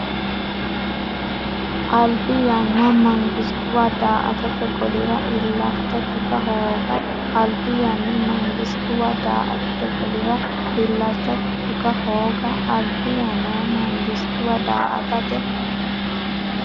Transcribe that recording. Albi yanna mangistuwa daa”atate golira illacha tuga hooga Albi yanna mangistuwa daa”atate golira illacha tuga hooga Albi yanna mangistuwa daa”atate.